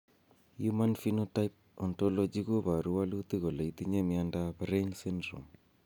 Human Phenotype Ontology koporu wolutik kole itinye Miondap Raine syndrome.